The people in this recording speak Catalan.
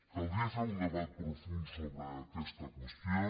caldria fer un debat profund sobre aquesta qüestió